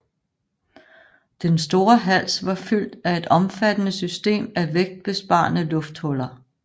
Den store hals var fyldt af et omfattende system af vægtbesparende lufthuller